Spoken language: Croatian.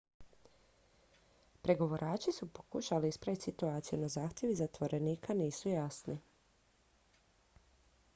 pregovarači su pokušali ispraviti situaciju no zahtjevi zatvorenika nisu jasni